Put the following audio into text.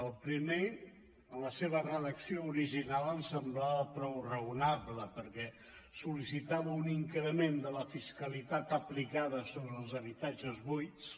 el primer en la seva redacció original ens semblava prou raonable perquè sol·licitava un increment de la fiscalitat aplicada sobre els habitatges buits